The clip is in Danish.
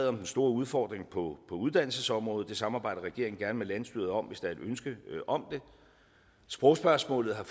om de store udfordringer på uddannelsesområdet det samarbejder regeringen gerne med landsstyret om hvis der er et ønske om det sprogspørgsmålet har